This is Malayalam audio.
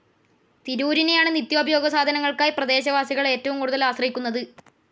തിരൂരിനെയാണ് നിത്യോപയോഗ സാധനങ്ങൾക്കായി പ്രദേശവാസികൾ ഏറ്റവും കൂടുതൽ ആശ്രയിക്കുന്നത്.